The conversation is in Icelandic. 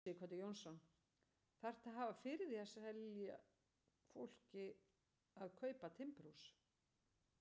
Sighvatur Jónsson: Þarftu að hafa fyrir því að selja fólki að kaupa timburhús?